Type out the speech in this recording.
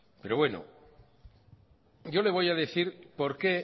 yo le voy por qué